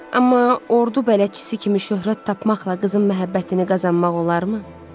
Amma ordu bələdçisi kimi şöhrət tapmaqla qızın məhəbbətini qazanmaq olarmı?